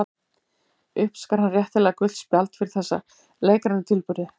Uppskar hann réttilega gult spjald fyrir þessa leikrænu tilburði.